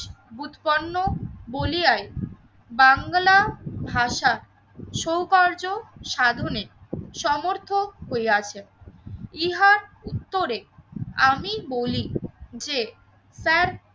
উৎকণ্ঠ বলিয়ায় বাংলা ভাষা সৌকর্য, সাধনের, সমর্থক হইয়াছে। ইহার উত্তরে আমি বলি যে